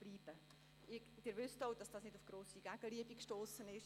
Sie wissen auch, dass diese Motion nicht auf grosse Gegenliebe gestossen ist.